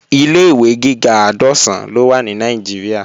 Ilé-ìwé gíga àádọ́sán ló wà ní Nàìjíríà